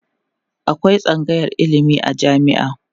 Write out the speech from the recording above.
akwai tsangayar ilimi a jami'a